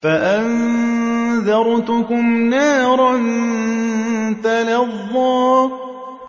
فَأَنذَرْتُكُمْ نَارًا تَلَظَّىٰ